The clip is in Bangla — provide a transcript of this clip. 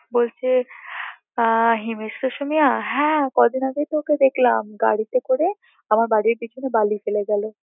বলছে হিমেশ রেশামিয়া হ্যাঁ কদিন আগেই তো ওকে দেখলাম গাড়িতে করে আমার বাড়ির পিছনে বালি ফেলে গেল